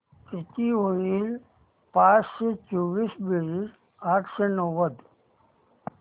किती होईल पाचशे चोवीस बेरीज आठशे नव्वद